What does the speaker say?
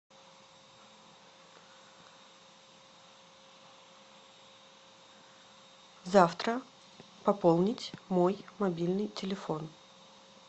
завтра пополнить мой мобильный телефон